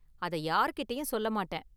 அதை யாரு கிட்டேயும் சொல்ல மாட்டேன்...